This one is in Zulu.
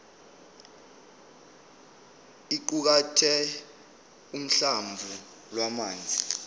iqukathe uhlamvu lwamazwi